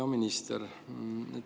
Hea minister!